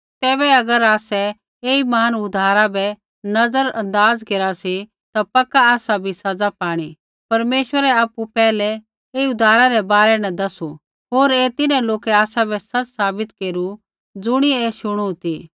तैबै अगर आसै ऐई महान उद्धारा बै नज़र अंदाज़ केरा सी ता पक्का आसा बी सज़ा पाणी परमेश्वरै आपु पैहलै ऐई उद्धारा रै बारै न दसू होर ऐ तिन्हैं लोकै आसाबै सच़ साबित केरू ज़ुणियै ऐ शुणु ती